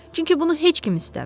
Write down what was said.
Çünki bunu heç kim istəmir.